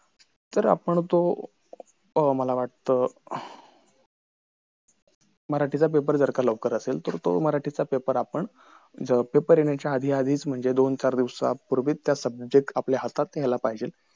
अरुंद अरुंद आणि खोल खोल विहीर अरुंद असलेल्या खोल विहिरीला कुंप म्हण म्हंटला जात. याचा आकार चौकोनी नसतो विहीर आणि आड हे सा सारखे प्रकारचे स्त्रोत्र आहेत.